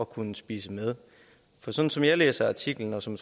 kunne spise med for sådan som jeg læser artiklen og som